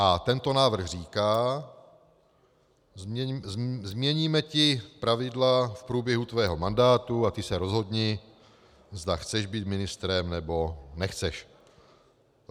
A tento návrh říká: změníme ti pravidla v průběhu tvého mandátu a ty se rozhodni, zda chceš být ministrem, nebo nechceš.